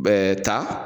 Bɛɛ ta